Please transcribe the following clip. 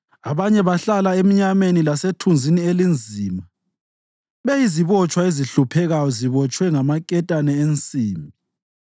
Abanye bahlala emnyameni lasethunzini elinzima beyizibotshwa ezihluphekayo zibotshwe ngamaketane ensimbi,